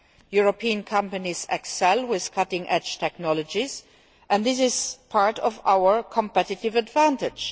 European companies excel in cutting edge technologies and this is part of our competitive advantage.